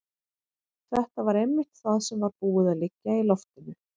Þetta var einmitt það sem var búið að liggja í loftinu.